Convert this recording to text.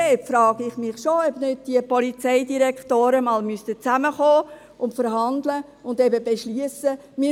Dort frage ich mich schon, ob nicht die Polizeidirektoren einmal zusammenkommen, verhandeln und beschliessen müssten: